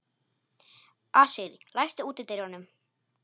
Asírí, læstu útidyrunum.